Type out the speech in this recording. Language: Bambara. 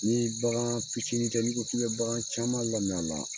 Ni bagan fitini tɛ, i ko k'i be bagan caman lami a la